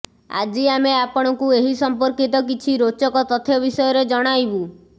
ଆଜି ଆମେ ଆପଣଙ୍କୁ ଏହି ସମ୍ପର୍କିତ କିଛି ରୋଚକ ତଥ୍ୟ ବିଷୟରେ ଜଣାଇବୁ